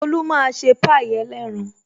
Tolu máa ṣe pie ẹlẹ́ran